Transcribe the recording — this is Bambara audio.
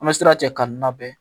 An bɛ sira cɛ k'a n nabɛ